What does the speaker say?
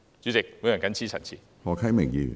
主席，我謹此陳辭。